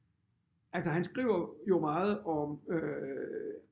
Altså han skriver jo meget om øh